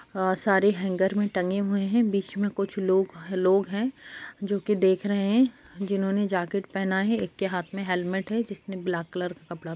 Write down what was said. अ सारे हैंगर मे टंगे है बीच मे कुछ लोग-लोग है जो की देख रहे है जिन्हो ने जाकेट पहना है एक के हाथ मे हैलमेट है जिसने ब्लैक कलर का कपड़ा----